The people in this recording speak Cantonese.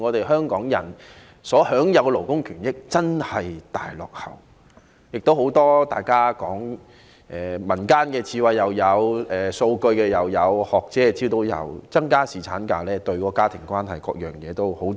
香港人所享有的勞工權益真的大大落後於其他地方，大家提及了很多民間智慧、數據及學者提供的資料，說增加侍產假對家庭關係等方面帶來好處。